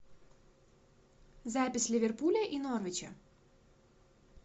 запись ливерпуля и норвича